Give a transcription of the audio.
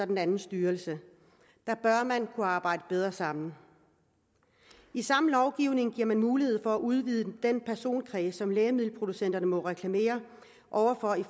den anden styrelse der bør man kunne arbejde bedre sammen i samme lovgivning giver man mulighed for at udvide den personkreds som lægemiddelproducenterne må reklamere over for i